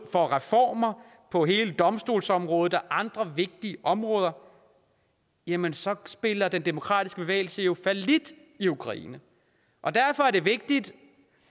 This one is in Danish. for reformer på hele domstolsområdet og andre vigtige områder jamen så spiller den demokratiske bevægelse jo fallit i ukraine og derfor er det vigtigt